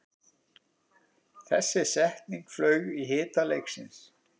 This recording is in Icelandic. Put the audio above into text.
Þessi setning flaug í hita leiksins